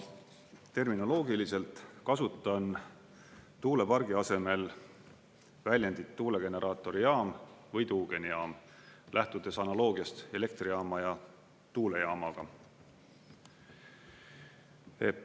Terminoloogiliselt kasutan tuulepargi asemel väljendit tuulegeneraatorijaam või tuugenijaam, lähtudes analoogiast elektrijaama ja tuulejaamaga.